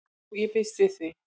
"""Jú, ég býst við því"""